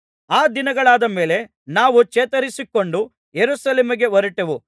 ಆ ದಿನಗಳಾದ ಮೇಲೆ ನಾವು ಚೇತರಿಸಿಕೊಂಡು ಯೆರೂಸಲೇಮಿಗೆ ಹೊರಟೆವು